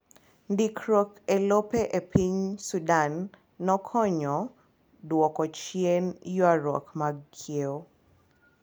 Ndikruok elope epiny Sudan nokonyo duoko chien yuaruok mag kiewo.